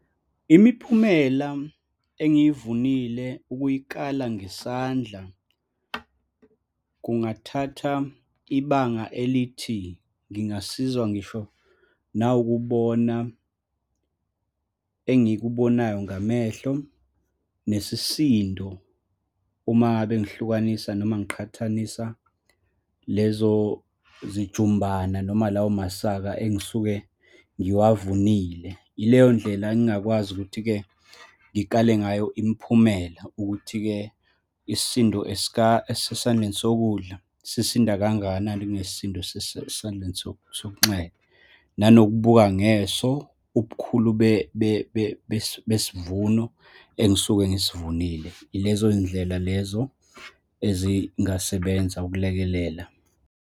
Imiphumela engiyivunile ukuyikala ngesandla kungathatha ibanga elithi, ngingasizwa ngisho nawukubona engikubonayo ngamehlo, nesisindo, uma ngabe ngihlukanisa noma ngiqhathanisa lezo zijumbana noma lawo masaka engisuke ngiwavunile. Yileyondlela engingakwazi ukuthi-ke ngikale ngayo imiphumela, ukuthi-ke isisindo esesandleni sokudla sisinda kangakanani kunesisindo esesesandleni sokunxele, nanokubaka ngeso ubukhulu besivuno engisuke ngisivunile. Yilezo ndlela lezo ezingasebenza ukulekelela.